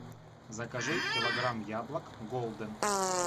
закажи килограмм яблок голден